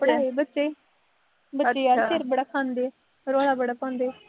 ਪੜਾਏ ਬੱਚੇ, ਬੱਚੇ ਆ ਬਈ ਸਿਰ ਬੜਾ ਖਾਂਦੇ ਆ, ਰੌਲਾ ਬੜਾ ਪਾਉਂਦੇ ਆ,